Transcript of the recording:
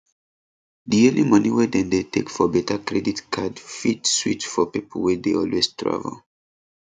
di yearly money wey dem dey take for better credit card fit sweet for people wey dey always travel